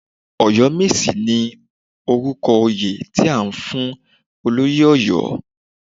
Ọ̀yọ́mèsì ni orúkọ oyè, tí a fún olóyè Ọ̀yọ́.